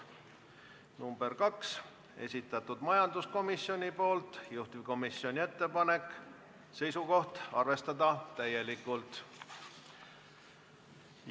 Ettepaneku nr 2 on samuti esitanud majanduskomisjon, juhtivkomisjoni seisukoht on arvestada seda täielikult.